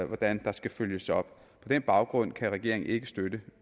hvordan der skal følges op på den baggrund kan regeringen ikke støtte